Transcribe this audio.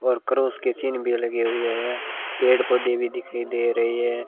और क्रॉस की चिह्न भी लगे हुए हैं पेड़ पौधे भी दिखाई दे रहे--